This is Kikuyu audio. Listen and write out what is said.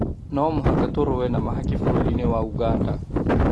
No mũhaka tũrũe na mahaki bũrũri-inĩ wa Ũganda